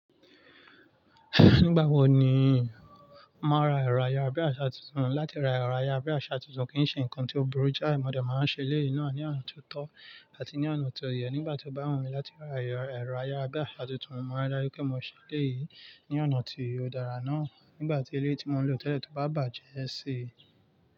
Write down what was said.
Nígbà wo ni màá ra ẹ̀rọ ayára bí àṣá tuntun? Látì rá ẹ̀rọ ayára bí àṣá tuntun kìí ṣe ǹkan tí òburu jái, mọ̀ dẹ̀ máa ń ṣe eleyii náà ní ọ̀nà tó tọ́ àti ní ọ̀nà tó yẹ. Nígbà tí o bá wu mí láti ra ẹ̀rọ ayára bí àṣá tuntun, mo màá ri daju pebmọ ṣe eléyìí ní ọ̀nà tí ó dára náà. Nígbà tí eleyii ti mò ń lò tẹ́lẹ̀ tó bá bàjẹ́ ẹ ṣi.